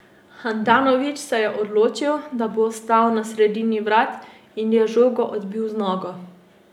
Handanović se je odločil, da bo ostal na sredini vrat, in je žogo odbil z nogo.